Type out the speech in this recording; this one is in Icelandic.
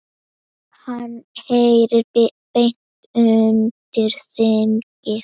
Hann heyri beint undir þingið.